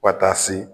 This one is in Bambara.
Fo taa se